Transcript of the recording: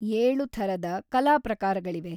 ಏಳು ಥರದ ಕಲಾ ಪ್ರಕಾರಗಳಿವೆ.